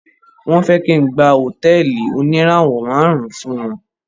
Wọ́n fẹ́ kí n gba hotẹ́ẹ́lì oníràwò márùn ùn fún wọn.